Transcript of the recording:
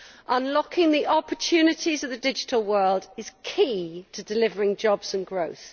Unlocking the opportunities of the digital world is crucial to delivering jobs and growth.